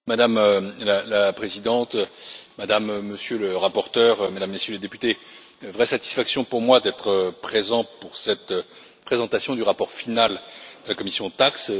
Madame la Présidente, Madame et Monsieur les rapporteurs, Mesdames et Messieurs les députés, c'est une vraie satisfaction pour moi d'être présent pour cette présentation du rapport final de la commission TAXE.